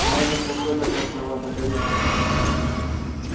а этот какой-то красновато-коричневый